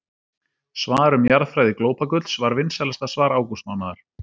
Svar um jarðfræði glópagulls var vinsælasta svar ágústmánaðar.